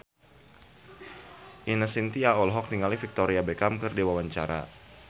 Ine Shintya olohok ningali Victoria Beckham keur diwawancara